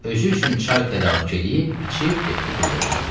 Özü üçün çay tədarük eləyib, içib getdi qulluğuna.